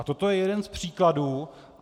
A toto je jeden z příkladů.